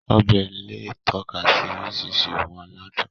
Ọbẹ̀ lè tọ́ka sí oríṣiríṣi ohun aládùn